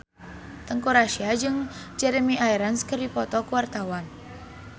Teuku Rassya jeung Jeremy Irons keur dipoto ku wartawan